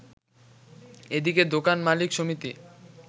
এদিকে দোকান মালিক সমিতি